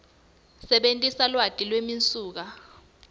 sebentisa lwati lwemisuka